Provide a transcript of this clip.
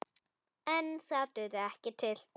En það dugði ekki til.